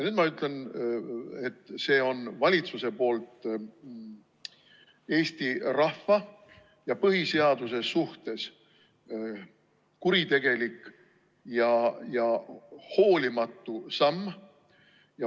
Nüüd ma ütlen, et see on valitsuse poolt Eesti rahva ja põhiseaduse suhtes kuritegelik ja hoolimatu samm.